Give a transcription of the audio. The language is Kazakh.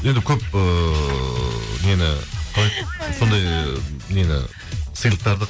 енді көп ыыы нені қалай еді сондай нені сыйлықтарды